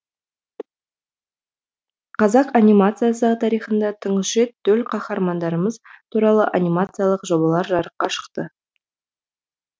қазақ анимациясы тарихында тұңғыш рет төл қаһармандарымыз туралы анимациялық жобалар жарыққа шықты